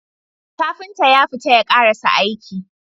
Kafinta yafita ya karasa aiki